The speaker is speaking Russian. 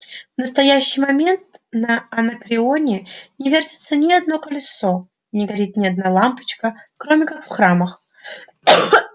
в настоящий момент на анакреоне не вертится ни одно колесо не горит ни одна лампочка кроме как в храмах